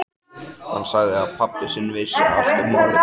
Hann sagði að pabbi sinn vissi allt um málið.